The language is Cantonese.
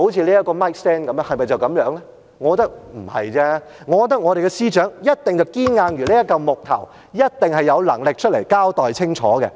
我認為不是，我覺得司長一定堅硬如這塊木頭，一定有能力出來交代清楚。